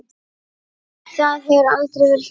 Það hefur aldrei verið svona.